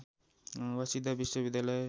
Waseda विश्वविद्यालय